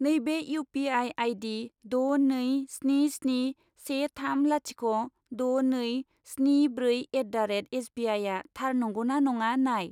नैबे U P I आइदि द' नै स्नि स्नि से थाम लाथिख' द' नै स्नि ब्रै एट दा रेट एसबिआइआ थार नंगौ ना नङा नाय।